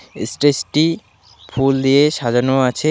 এস্টেসটি ফুল দিয়ে সাজানো আছে।